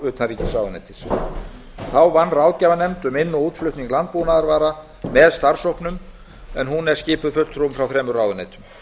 utanríkisráðuneytis þá vann ráðgjafarnefnd um inn og útflutning landbúnaðarvara með starfshópnum en hún er skipuð fulltrúum frá þremur ráðuneytum